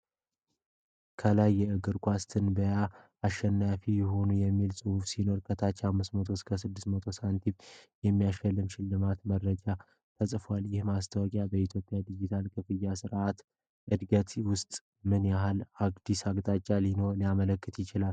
ከላይ "የእግር ኳስ ትንበያ አሸናፊ ይሁኑ!" የሚል ጽሑፍ ሲኖር፣ ከታች 500 ብር እና 6000 ሳንቲም የሚያሳይ የሽልማት መረጃ ተጽፏል። ይህ ማስታወቂያ በኢትዮጵያ የዲጂታል ክፍያ ሥርዓት እድገት ውስጥ ምን ያህል አዲስ አቅጣጫ ሊያመለክት ይችላል?